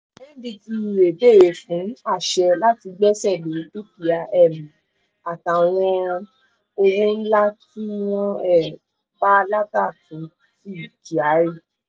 ndtea béèrè fún àṣẹ láti gbẹ́sẹ̀ lé dúkìá um àtàwọn owó ńlá tí wọ́n um bá kyari